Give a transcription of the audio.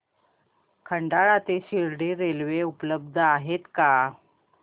खंडाळा ते शिर्डी रेल्वे उपलब्ध आहे का